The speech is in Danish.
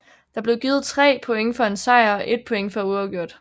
Der blev givet 3 point for en sejr og 1 point for uafgjort